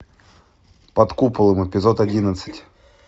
под куполом эпизод одиннадцать